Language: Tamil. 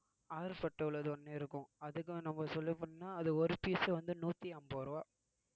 ஆறு உள்ளது ஒண்ணு இருக்கும் அதுக்கும் நம்ம சொல்லப்போனா அது ஒரு piece வந்து நூத்தி அம்பது ரூபாய்